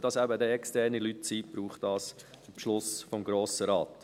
Weil es externe Leute sind, braucht es einen Beschluss des Grossen Rates.